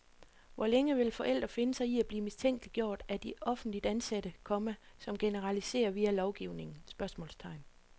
Hvor længe vil forældre finde sig i at blive mistænkeliggjort af de offentligt ansatte, komma som generaliserer via lovgivningen? spørgsmålstegn